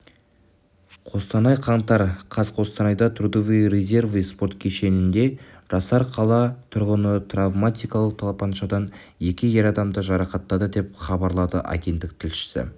қостанай қаңтар қаз қостанайда трудовые резервы спорт кешенінде жасар қала тұрғыны травматикалық тапаншадан екі ер адамды жарақаттады деп хабарлады агенттік тілшісі